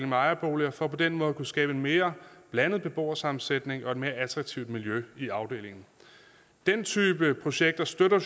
med ejerboliger for på den måde at kunne skabe en mere blandet beboersammensætning og et mere attraktivt miljø i afdelingen den type projekter støtter